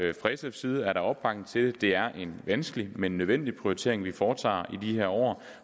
side er der opbakning til at det er en vanskelig men nødvendig prioritering vi foretager i de her år